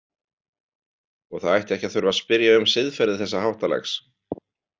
Og það ætti ekki að þurfa að spyrja um siðferði þessa háttalags.